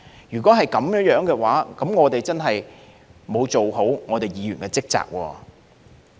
如果是這樣，我們真的沒有做好議員的職責。